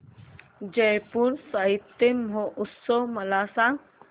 जयपुर साहित्य महोत्सव मला सांग